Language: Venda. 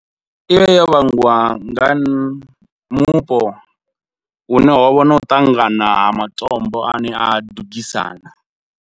I vha yo vhangiwa nga mupo, hune ho vha na u ṱangana ha matombo a ne a dugisana.